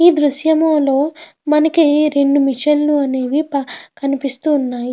ఈ దుర్షం లో మనకి రెండు మెషిన్ లు అనేవి కనిపిస్తున్నాయి.